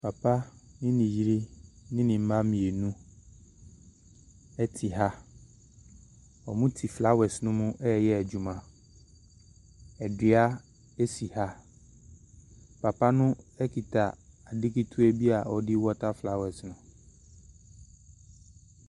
Papa ne ne yere ne ne mma mmienu te ha. Wɔte flowers no mu reyɛ adwuma. Adua si ha. Papa no kita ade ketewa bi a ɔde rewɔta flowers no.